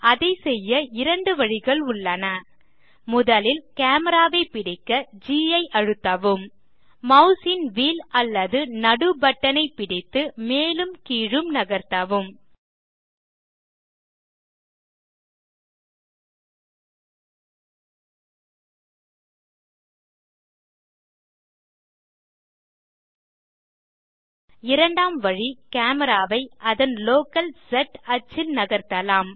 அதை செய்ய 2 வழிகள் உள்ளன் முதலில் கேமரா ஐ பிடிக்க ஜி ஐ அழுத்தவும் மாஸ் ன் வீல் அல்லது நடு பட்டனை பிடித்து மேலும் கீழும் நகர்த்தவும் இரண்டாம் வழி கேமரா ஐ அதன் லோக்கல் ஸ் ஆக்ஸிஸ் ல் நகர்ததலாம்